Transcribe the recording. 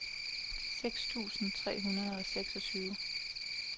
seks tusind tre hundrede og seksogtyve